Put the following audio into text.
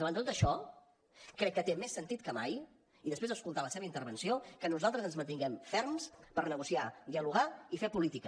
davant de tot això crec que té més sentit que mai i després d’escoltar la seva intervenció que nosaltres ens mantinguem ferms per negociar dialogar i fer política